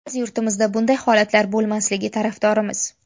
Biz yurtimizda bunday holatlar bo‘lmasligi tarafdorimiz.